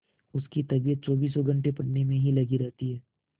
उसकी तबीयत चौबीसों घंटे पढ़ने में ही लगी रहती है